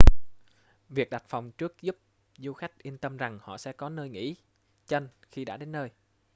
việc đặt phòng trước giúp du khách yên tâm rằng họ sẽ có nơi nghỉ chân khi đã đến nơi